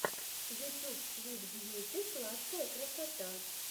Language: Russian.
ютюб свит бьюти сладкая красота